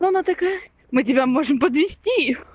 она такая мы тебя можем подвести